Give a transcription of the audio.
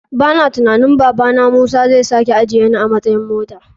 Bana tunanin babana musa zai sake ajiyeni a matsayan mota.